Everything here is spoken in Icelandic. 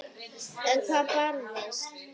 En hvað brást?